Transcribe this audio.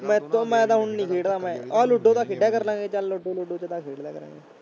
ਮੈਥੋਂ ਮੈਂ ਤਾਂ ਹੁਣ ਨੀ ਖੇਡਦਾ ਮੈਂ, ਆਹ ਲੂਡੋ ਤਾਂ ਖੇਡਿਆ ਕਰ ਲਵਾਂਗੇ ਚੱਲ ਲੂਡੋ ਲੂਡੋ ਚ ਖੇਡ ਲਿਆ ਕਰਾਂਗੇ।